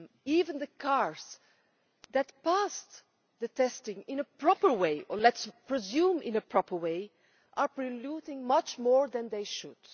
Even the cars that passed testing in a proper way or let us presume in a proper way are polluting much more than they should.